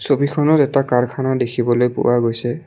ছবিখনত এটা কাৰখানা দেখিবলৈ পোৱা গৈছে।